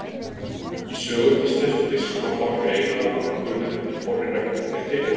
Í sögum íslensku biskupanna má greina nokkurn mun eftir því hvorri reglunni þeir tilheyrðu.